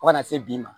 Fo ka na se bi ma